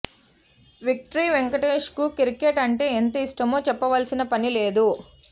victory వెంకటేష్కు cricket అంటే ఎంత ఇష్టమో చెప్పవలసిన పని లేదు